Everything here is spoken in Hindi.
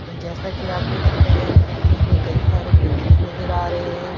जैसा कि आप देख सकते हैं। यह दृश्य में हमे कई सारे बिल्डिंग नजर आ रहे हैं।